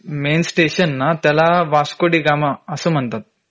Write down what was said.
main station ना त्याला वास्को डी गामा असं म्हणतात